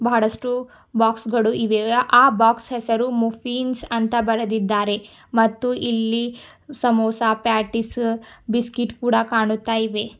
ಬಹಳಷ್ಟು ಬಾಕ್ಸ್ ಗಳು ಇವೆ ಆ ಬಾಕ್ಸ್ ಹೆಸರು ಮುಫೀನ್ಸ್ ಅಂತ ಬರೆದಿದ್ದಾರೆ ಮತ್ತು ಇಲ್ಲಿ ಸಮೋಸ ಪ್ಯಾಟೀಸು ಬಿಸ್ಕೆಟ್ ಕೂಡ ಕಾಣುತ್ತಾ ಇವೆ.